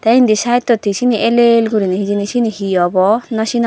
te endi sidetot he ell ell gorinay hejani cini he obo nw cinogor.